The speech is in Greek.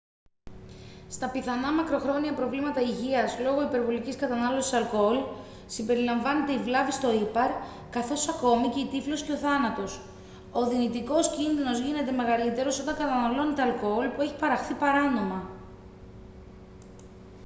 στα πιθανά μακροχρόνια προβλήματα υγείας λόγω υπερβολικής κατανάλωσης αλκοόλ συμπεριλαμβάνεται η βλάβη στο ήπαρ καθώς ακόμη και η τύφλωση και ο θάνατος ο δυνητικός κίνδυνος γίνεται μεγαλύτερος όταν καταναλώνετε αλκοόλ που έχει παραχθεί παράνομα